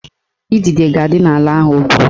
Idide ga-adị n'ala ahụ o gwuru